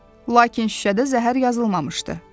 Lakin şüşədə zəhər yazılmamışdı.